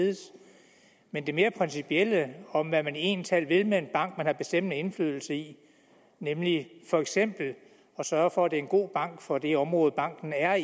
ledes men det mere principielle om hvad man egentlig talt vil med en bank man har bestemmende indflydelse i nemlig for eksempel at sørge for at det er en god bank for det område banken er